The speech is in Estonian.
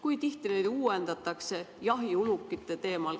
Kui tihti neid andmeid uuendatakse, näiteks jahiulukite kohta?